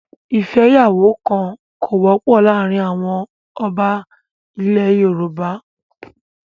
ìfẹ́yàwókan kò wọ́pọ̀ láàárín àwọn ọba ilẹ̀ Yorùbá.